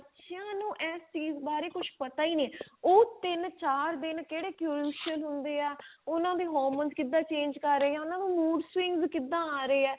ਚਿਆਂ ਨੂੰ ਇਸ ਚੀਜ ਬਾਰੇ ਕੁਛ ਪਤਾ ਹੀ ਨਹੀਂ ਉਹ ਤਿੰਨ ਚਾਰ ਦਿਨ ਕਿਹੜੇ crucial ਹੁੰਦੇ ਆ ਉਹਨਾਂ ਦੇ hormones ਕਿਦਾਂ change ਹਾਂ ਉਹਨਾਂ ਦੇ mood swings ਕਿਦਾਂ ਆ ਰਹੇ ਏ